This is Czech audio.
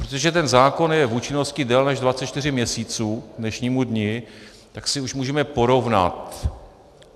Protože ten zákon je v účinnosti déle než 24 měsíců k dnešnímu dni, tak si už můžeme porovnat.